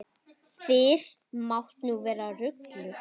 Fyrr mátti nú vera ruglið!